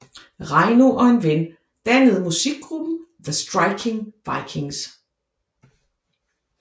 Reino og en ven dannede musikgruppen The Striking Vikings